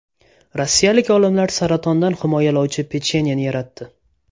Rossiyalik olimlar saratondan himoyalovchi pechenyeni yaratdi.